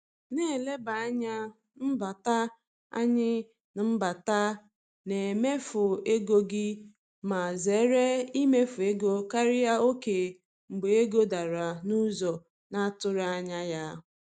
Na-eleba anya n’mbata anya n’mbata na mmefu ego gị ma zere imefu ego karịa oke mgbe ego dara n’ụzọ na-atụghị anya ya.